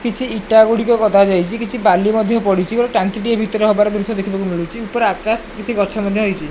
କିଛି ଇଟା ଗୁଡିକ ଗଦା ଯାଇଚି କିଛି ବାଲି ମଧ୍ୟ ପଡିଚି ଗୋଟେ ଟାଙ୍କି ଟିଏ ଭିତରେ ହବାର ଦୃଶ୍ୟ ଦେଖିବାକୁ ମିଳୁଚି ଉପରେ ଆକାଶ କିଛି ଗଛ ମଧ୍ୟ ହେଇଚି।